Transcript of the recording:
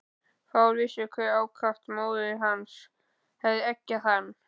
Fáir vissu hve ákaft móðir hans hafði eggjað hann.